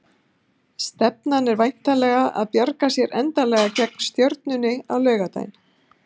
Stefnan er væntanlega að bjarga sér endanlega gegn Stjörnunni á laugardaginn?